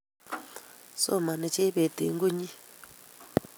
Somani Jebet eng` konyi